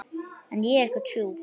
En ég er ekkert sjúk.